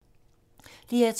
DR2